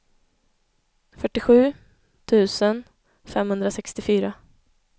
fyrtiosju tusen femhundrasextiofyra